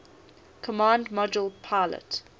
command module pilot